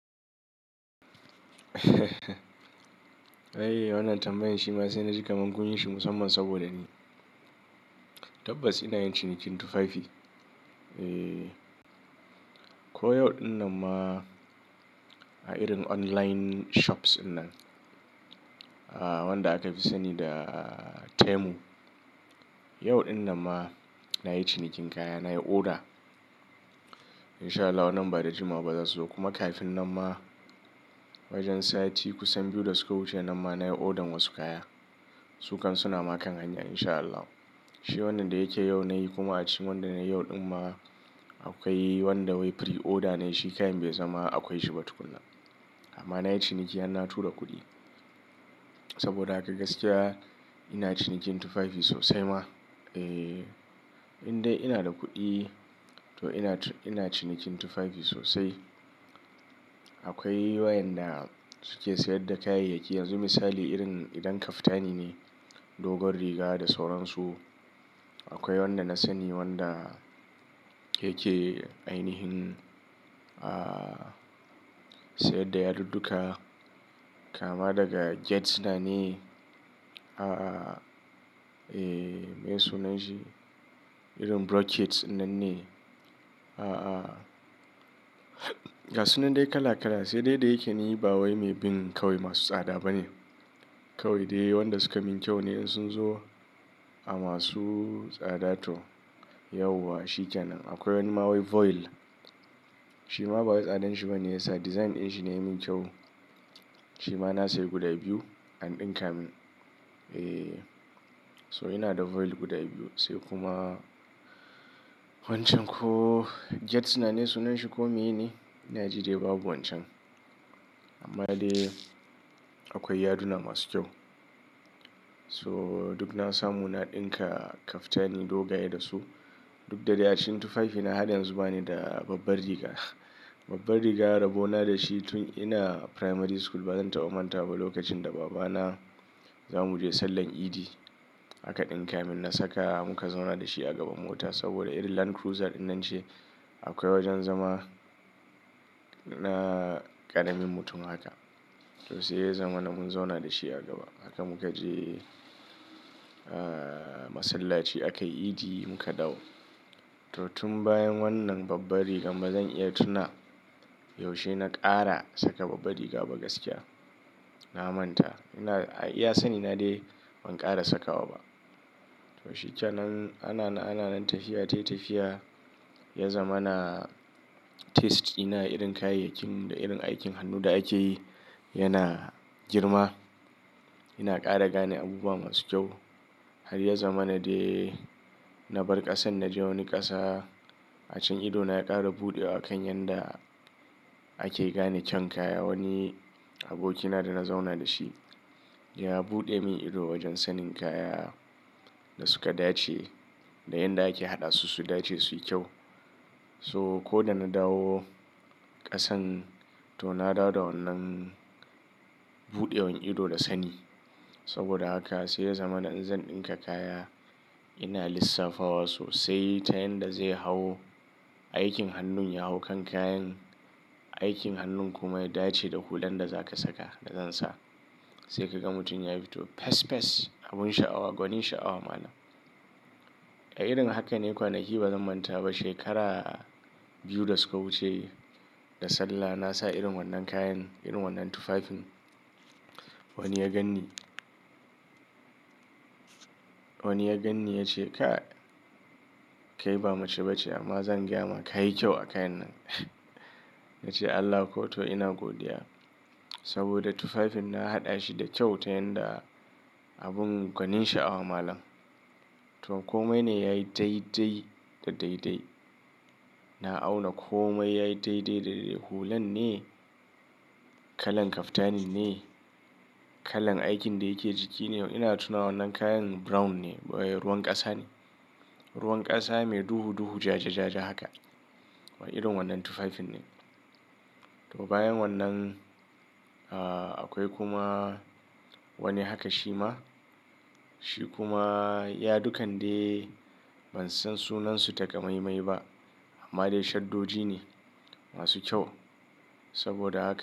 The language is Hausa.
Ai, wannan tambayan shi ma sai na ji kaman kunyi shi musamman saboda ni tabbas ina yin cinikin tufafi. Eee, ko yau ɗin nan ma a irin online shops inna wanda aka fi sani da Temu. Yau ɗin nan ma na yi cinikin kaya, na yi oda. In sha Allah wannan ba da jimawa ba za su zo. Kuma kafin nan ma wajen sati kusan biyu da suka wuce nan ma na yi odan wasu kaya. Su kan suna makan hanya in sha Allah. Shi wannan da yake yau na yi kuma a cikin wanda nayi yau ɗin ma akwai wanda wai pre-order ne shi kayan bai zama akwai shi ba tukuna. Amma na yi ciniki an na tura kuɗi saboda a gaskiya ina cinikin tufafi sosai ma. Eee, in dai ina da kuɗi to ina cinikin tufafi sosai. Akwai wayanda suke sayar da kayayyaki yanzu misali irin idan kaftani ne, dogon riga da sauransu. Akwai wanda na sani wanda yake ainihin, ah, sayar da yadudduka kama daga gezzina ne. A a, me sunan shi? Irin broaches nan ne. A a. Gasunnan dai kala kala sai dai dai yake ni ba wai mai bin kawai masu tsada bane. Kawai dai waɗanda suka min kyau ne in sun zo a masu tsada to yauwa shi ke nan. Akwai wani ma wai voile shi ma ba wai tsadan shi ba ne yasa. Design ɗin shi ne ya min kyau. Shi ma na sayar guda biyu an ɗinka min. Eee, so ina da voile guda biyu sai kuma wancan ko gezzina ne sunan shi ko me ye ne? Ina ji dai babu wancan. Amma dai akwai yaduna masu kyau. So duk na samu na ɗinka kaftani dogaye da su. Duk da dai a cikin tufafi na har yanzu ba ni da babbar riga. Babbar riga rabo na da shi tun ina primary school ba zan taɓa manta ba lokacin da babana za mu je sallar idi aka ɗinka min na saka muka zauna da shi a gaban mota saboda irin Land Cruiser innance akwai wajen zama na ƙaramin mutum haka. To sai zaman nan mun zauna da shi a gaba. Haka muka je, ah, masallaci aka yi idi muka dawo. To tun bayan wannan babbar riga ba zan iya tuna yaushe na ƙara saka babbar riga ba gaskiya. Na manta. Ina iya sani na dai ban ƙara saka wa ba. To shi ke nan ana na ana nan tafiya tayi tafiya ya zama na taste ina irin kayayyakin da irin aikin hannu da ake yi yana girma. Ina ƙara gane abubuwa masu kyau. Har ya zama na dai na bar ƙasan na je wani ƙasa. A cikin idona ya ƙara buɗewa kan yanda ake gane kyan kaya. Wani abokina da na zauna da shi ya buɗe min ido wajen sanin kaya da suka dace da yanda ake haɗa su, su dace su yi kyau. So ko da na dawo ƙasan to na dawo da wannan buɗewar ido da sani. Saboda haka sai ya zama in zan ɗinka kaya ina lissafa wa sosai ta yanda zai hawo, aikin hannun ya hau kan kayan, aikin hannun kuma ya dace da hulan da za ka saka da zan sa. Sai ka ga mutum ya fito fes fes abun sha'awa, gwanin sha'awa malam. A irin haka ne kwanaki ba zan manta ba shekara biyu da suka wuce da Sallah na sa irin wannan kayan irin wannan tufafin. Wani ya ganni. Wani ya ganni ya ce ka, kai ba mace ba ce amma zan gyama ka yi kyau a kayan nan. Ya ce Allah ko to ina godiya saboda tufafin na haɗa shi da kyau ta yanda abun gwanin sha'awa malam. To komai ne yayi dai dai da dai dai. Na auna komai yayi dai dai da dai dai. Hulan ne, kalan kaftani ne, kalan aikin da yake jiki ne. Ina tuna wannan kayan brown ne wai ruwan ƙasa ne. Ruwan ƙasa mai duhu duhu ja ja ja ja haka. Irin wannan tufafin ne. To bayan wannan, ah, akwai kuma wani haka shi ma. Shi kuma yadukan dai ban san sunan su takamaimai ba amma dai shaddoji ne masu kyau. Saboda haka.